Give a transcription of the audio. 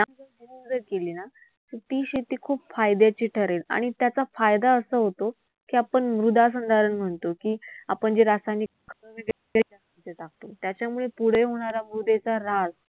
केली ना तर ती शेती खूप फायद्याची ठरेल आणि त्याचा फायदा असा होतो की, आपण मृदासंधारण म्हणतो की, आपण जे रासायनिक टाकतो त्याच्यामुळे पुढे होणारा होणार ऱ्हास